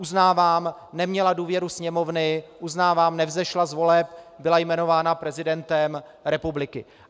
Uznávám, neměla důvěru Sněmovny, uznávám, nevzešla z voleb, byla jmenována prezidentem republiky.